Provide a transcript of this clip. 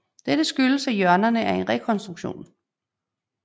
Dette skyldes at hjørnerne er en rekonstruktion